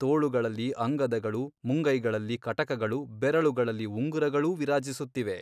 ತೋಳುಗಳಲ್ಲಿ ಅಂಗದಗಳು ಮುಂಗೈಗಳಲ್ಲಿ ಕಟಕಗಳು ಬೆರಳುಗಳಲ್ಲಿ ಉಂಗುರಗಳೂ ವಿರಾಜಿಸುತ್ತಿವೆ.